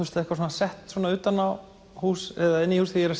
sett utan á hús eða inn í hús þegar ég